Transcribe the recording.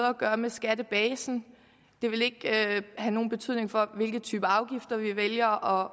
at gøre med skattebasen det vil ikke have nogen betydning for hvilke typer afgifter vi vælger